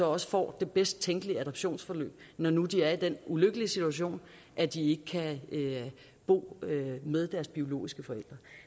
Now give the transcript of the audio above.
også får det bedst tænkelige adoptionsforløb når nu de er i den ulykkelige situation at de ikke kan bo med deres biologiske forældre